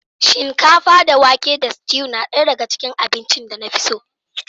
Shinkafa da wake tare da stew na ɗaya daga cikin abincin da na fi so